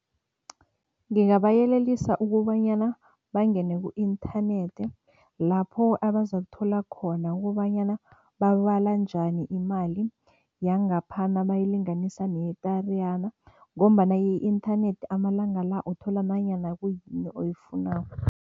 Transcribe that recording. Ngingabayelelisa ukobanyana bangene ku-inthanethi lapho abazokuthola khona ukobanyana babala njani imali yangapha nabayilinganisa neye-Tariyana ngombana i-inthanethi amalanga la, uthola nanyana kuyini oyifunako.